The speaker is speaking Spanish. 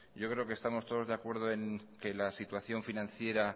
yo creo que estamos todos de acuerdo en que la situación financiera